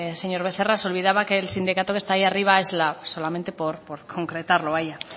señor becerra se olvidaba que el sindicato que está allí arriba es lab solamente por concretarlo